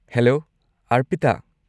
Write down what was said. Hello, Arpita.